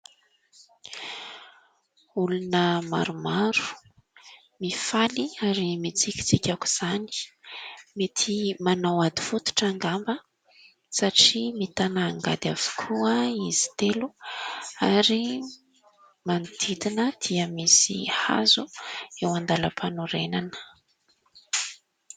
Olona maromaro mifaly ary mitsikitsiky aok'izany. Mety manao ady fototra angamba satria mitana angady avokoa izy telo ary manodidina dia misy hazo eo andalam-panorenana.